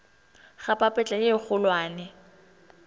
ga papetla ye e kgolwane